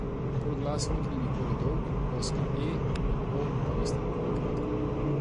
Polglasnik ni nikoli dolg, ozka e in o pa nista nikoli kratka.